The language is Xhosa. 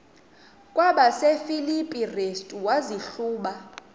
kwabasefilipi restu wazihluba